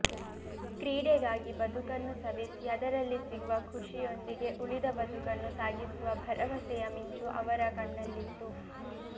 ಕ್ರೀಡೆಗಾಗಿ ಬದುಕನ್ನು ಸವೆಸಿ ಅದರಲ್ಲಿ ಸಿಗುವ ಖುಷಿಯೊಂದಿಗೆ ಉಳಿದ ಬದುಕನ್ನು ಸಾಗಿಸುವ ಭರವಸೆಯ ಮಿಂಚು ಅವರ ಕಣ್ಣಲ್ಲಿತ್ತು